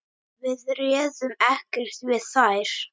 Við réðum ekkert við þær.